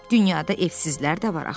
Dünyada evsizlər də var axı.